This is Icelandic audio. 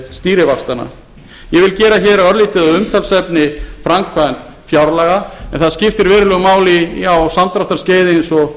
ég vil gera hér örlítið að umtalsefni framkvæmd fjárlaga en það skiptir verulegu máli á samdráttarskeiði eins og